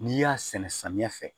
N'i y'a sɛnɛ samiya fɛ